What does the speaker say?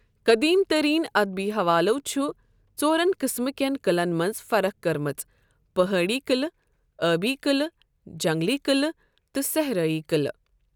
قدیم ترین اَدبی حوالو چھُ ژورن قٕسمہٕ کٮ۪ن قٕلعن منٛز فرق کٔرمٕژ پہٲڑی قٕلہٕ، آبی قٕلہٕ، جنگلی قٕلہٕ، تہٕ صحرٲئی قٕلہٕ